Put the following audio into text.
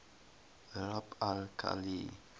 rub al khali